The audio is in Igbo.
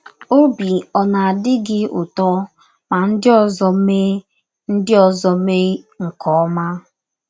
Ọbi ọ̀ na - adị gị ụtọ ma ndị ọzọ mee ndị ọzọ mee nke ọma?